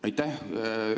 Aitäh!